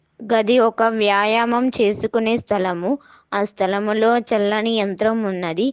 గది ఒక వ్యాయామం చేసుకునే స్థలము ఆ స్థలములో చల్లని యంత్రం ఉన్నది.